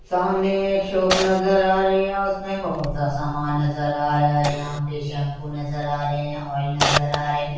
सामने मे एक शॉप नजर आ रही है और उसमे बहुत सा सामान नजर आ रहा है यहाँ पे शैम्पू नजर आ रहे है ऑइल नजर आ रहे है।